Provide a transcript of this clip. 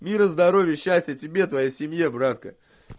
мира здоровья счастья тебе твоей семье братка